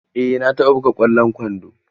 Eh na taɓa buga ƙwallon kwando.